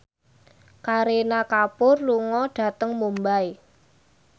Kareena Kapoor lunga dhateng Mumbai